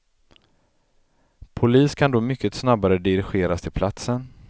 Polis kan då mycket snabbare dirigeras till platsen.